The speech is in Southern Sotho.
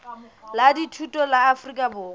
la dithuto la afrika borwa